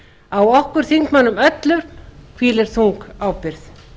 á okkur þingmönnum öllum hvílir þung ábyrgð